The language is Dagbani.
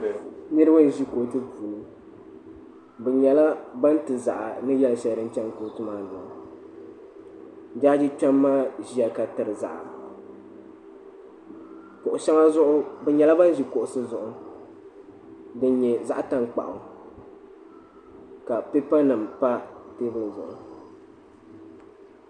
niriba n-ʒi kootu puuni bɛ nyɛla ban ti zaɣa ni yɛl' shɛli din chani kootu maa ni maa jaaji kpema maa ʒiya ka tiri zaɣa bɛ nyɛla ban ʒi kuɣisi zuɣu din nyɛ zaɣ' tankpaɣu ka pipa nima pa teebuli zuɣu.